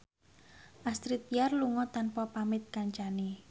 Astrid Tiar lunga tanpa pamit kancane